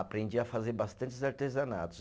Aprendi a fazer bastantes artesanatos.